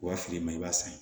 Wa feere ma i b'a san